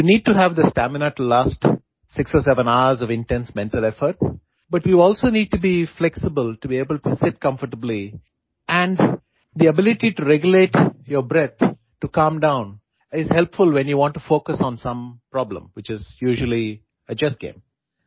you need to have the stamina to last 6 or 7 hours of intense mental effort but you also need to be flexible to able to sit comfortably and the ability to regulate your breath to calm down is helpful when you want to focus on some problem which is usually a chess game